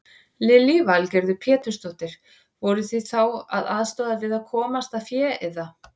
Lillý Valgerður Pétursdóttir: Voruð þið þá að aðstoða við að komast að fé eða?